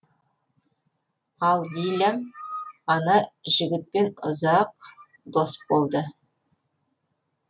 ал дилям ана жігітпен ұзақ дос болды